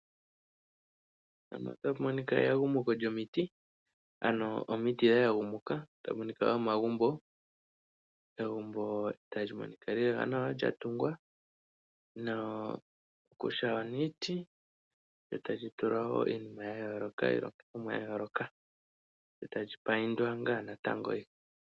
Mpano otapu monika eyagumuko lyomiti ano omiti dhayagumuka tapu monika omagumbo, omagumbo taga monika lela nawa lyatungwa kutya oniiti etali tulwa iinima yayooloka iilongithomwa yayooloka etali payindwa ngaa natango.